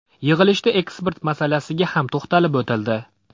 Yig‘ilishda eksport masalasiga ham to‘xtalib o‘tildi.